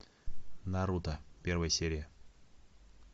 наруто первая серия